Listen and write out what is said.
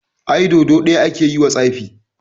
Ai Dodo ɗaya ake yiwa tsafi.